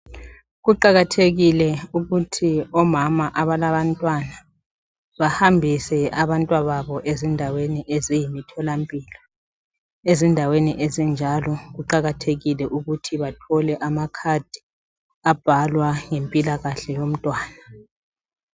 Kuqakathekile ukuthi omama abalabantwana bahambise abantwababo ezindaweni eziyimtholampilo. Ezindaweni ezinjalo kuqakathekile ukuthi bathole amakhadi abhalwa ngempilakahle yomntwana.